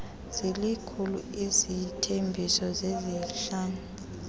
zilikhulu isithembiso sesihlanu